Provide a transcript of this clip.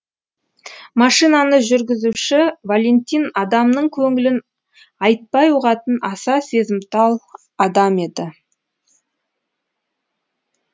машинаны жүргізуші валентин адамның көңілін айтпай ұғатын аса сезімтал адам еді